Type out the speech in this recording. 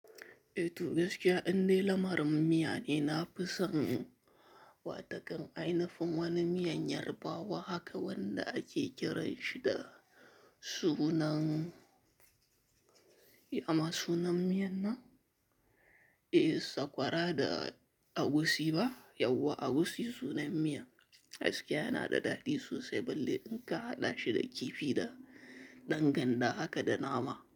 Eh toh gaskiya indai lamarin miya ne na fi son wa takan ainifin wani miyan Yarbawa haka wanda ake kiranshi da sunan, ya ma sunan miyan nan? Eh sakwara da egusi ba? Yauwa, egusi sunan miya. Gaskiya yana da daɗi sosai balle in ka haɗa shi da kifi da dan ganda haka da nama.